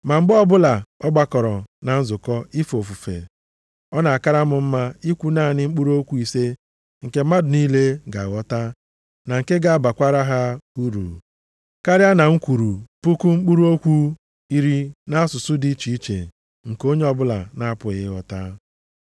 Ma mgbe ọbụla a gbakọrọ na nzukọ ife ofufe, ọ na-akara m mma ikwu naanị mkpụrụ okwu ise nke mmadụ niile ga-aghọta na nke ga-abakwara ha uru, karịa na m kwuru puku mkpụrụ okwu iri nʼasụsụ dị iche iche nke onye ọbụla na-apụghị ịghọta.